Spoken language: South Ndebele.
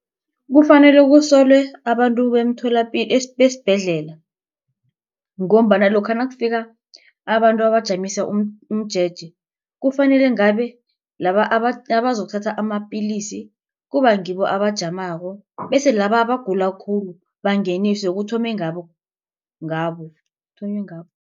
Kufanele kusolwe abantu besibhedlela ngombana lokha nakufika abantu abajamisa umjeje. Kufanele ngabe laba abazokuthatha amapilisi kuba ngibo abajamako bese laba abagula khulu bangeniswe kuthome ngabo ngabo kuthonywe ngabo.